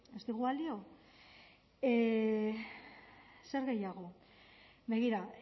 ez digu balio zer gehiago begira